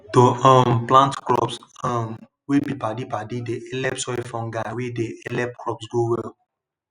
to um plant crops um wey be padipadi dey helep soil fungi wey dey helep crops grow well